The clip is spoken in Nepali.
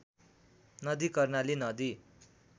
नदी कर्णाली नदी